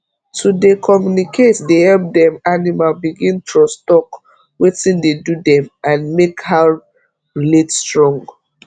to dey communicate dey help dem animal begin trusttalk wetin dey do dem and make how relate strong